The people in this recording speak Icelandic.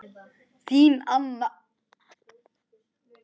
Þín Anna.